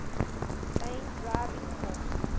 main driving force